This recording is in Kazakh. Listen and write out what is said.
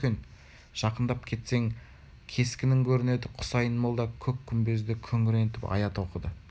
жақындап кетсең кескінің көрінеді хұсайын молда көк күмбезді күңірентіп аят оқыды